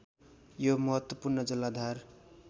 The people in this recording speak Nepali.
यो महत्त्वपूर्ण जलाधार